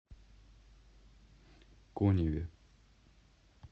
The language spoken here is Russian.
коневе